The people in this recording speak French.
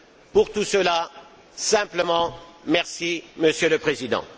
Pour tout cela, simplement merci, Monsieur le Président.